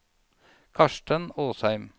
Karsten Åsheim